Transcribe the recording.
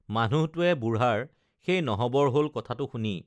মানুহটোৱে বুঢ়াৰ সেই নহবৰ হল কথাটো শুনি